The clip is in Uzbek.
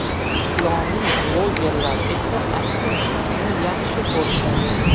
Islomiy blogerlar esa, aksincha, uni yaxshi ko‘radi.